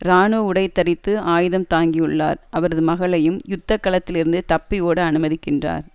இராணுவ உடை தரித்து ஆயுதம் தாங்கியுள்ளார் அவரது மகளையும் யுத்த களத்தில் இருந்து தப்பி ஓட அனுமதிக்கின்றார்